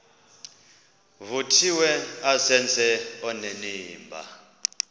vuthiwe azenze onenimba